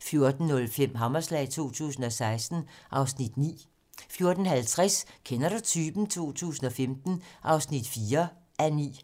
14:05: Hammerslag 2016 (Afs. 9) 14:50: Kender du typen? 2015 (4:9)